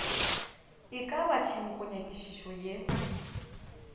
e ka ba tshenkonyakišišo ye